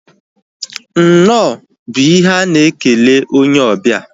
Nnọọ bụ ihe a na-ekele onye obia